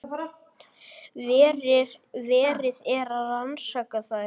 Verið er að rannsaka þær